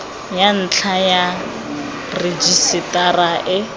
ya ntlha ya rejisetara e